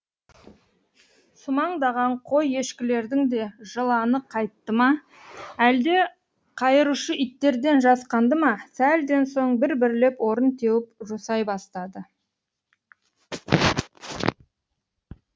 сумаңдаған қой ешкілердің де жыланы қайтты ма әлде қайырушы иттерден жасқанды ма сәлден соң бір бірлеп орын теуіп жусай бастады